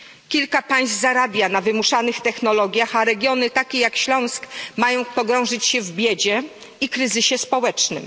Kilka państw zarabia na wymuszanych technologiach, a regiony takie jak Śląsk mają pogrążyć się w biedzie i kryzysie społecznym.